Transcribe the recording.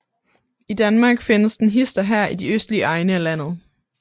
I Danmark findes den hist og her i de østlige egne af landet